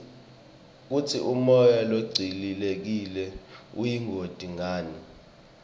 kutsi umoya longcolile uyingoti ngani